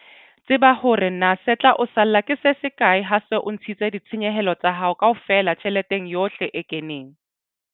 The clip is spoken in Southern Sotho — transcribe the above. Tseba hore na se tla o salla ke se sekae ha o se o ntshitse ditshenyehelo tsa hao kaofela tjheleteng yohle e keneng.